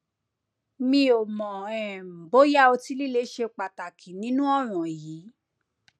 mi ò mọ um bóyá ọtí líle ṣe pàtàkì nínú ọràn yìí